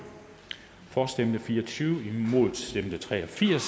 for stemte fire og tyve imod stemte tre og firs